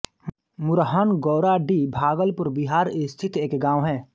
मुरहन गौराडीह भागलपुर बिहार स्थित एक गाँव है